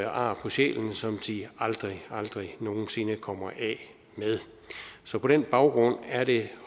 ar på sjælen som de aldrig aldrig nogen sinde kommer af med så på den baggrund er det